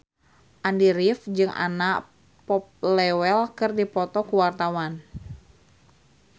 Andy rif jeung Anna Popplewell keur dipoto ku wartawan